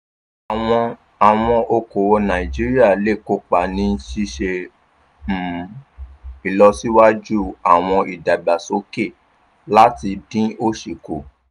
àwọn àwọn okoòwò nàìjíríà lè kópa ní ṣíṣe um ìlọsíwájú àwọn ìdàgbàsókè láti dín òsì kù.